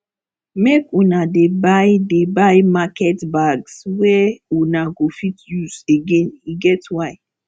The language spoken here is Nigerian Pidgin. make una dey buy dey buy market bags wey una go fit use again e get why